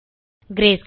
greyscale